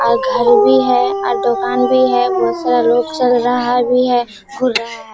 और घर भी है और दुकान भी है बहोत सारा लोग चल रहा भी है घूर रहा है।